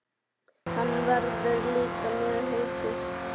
Hann verður líka mjög heitur.